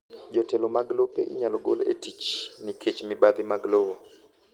Jotelo mag lope inyalo gol etich nikech mibathi mag lowo..